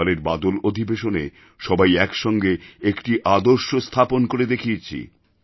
এবারের বাদল অধিবেশনে সবাই একসঙ্গে একটি আদর্শ স্থাপন করে দেখিয়েছি